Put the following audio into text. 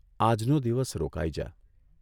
આજનો દિવસ રોકાઇ જા.